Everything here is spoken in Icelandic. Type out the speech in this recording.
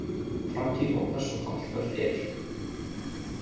Framtíð okkar svo fallvölt er.